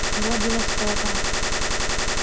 владивостока